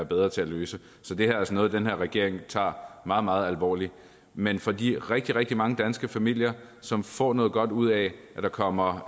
bedre til at løse så det her er altså noget den her regering tager meget meget alvorligt men for de rigtig rigtig mange danske familier som får noget godt ud af at der kommer